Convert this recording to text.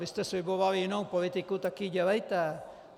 Vy jste slibovali jinou politiku, tak ji dělejte.